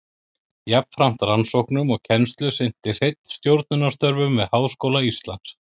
Jafnframt rannsóknum og kennslu sinnti Hreinn stjórnunarstörfum við Háskóla Íslands.